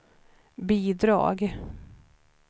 bidrag